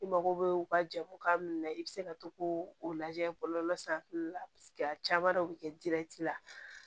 I mago bɛ u ka jamu ka mun na i bɛ se ka to k'o lajɛ bɔlɔlɔ sanfɛla la caman dɔ bɛ kɛ la